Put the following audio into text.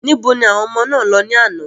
Níbo ni àwọn ọmọ náà lọ ní àná?